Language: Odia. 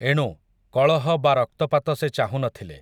ଏଣୁ, କଳହ ବା ରକ୍ତପାତ ସେ ଚାହୁଁନଥିଲେ ।